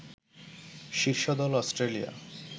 শীর্ষ দল অস্ট্রেলিয়া